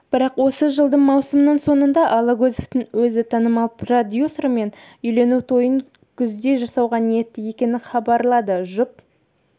бірақосы жылдың маусымының соңында алагөзовтың өзі танымал продюсермен үйлену тойын күзде жасауға ниетті екенін хабарлады жұп